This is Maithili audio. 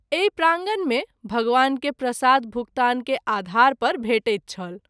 एहि प्रांगण मे भगवान के प्रसाद भुगतान के आधार पर भेटैत छल।